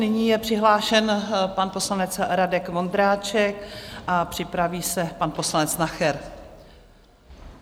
Nyní je přihlášen pan poslanec Radek Vondráček a připraví se pan poslanec Nacher.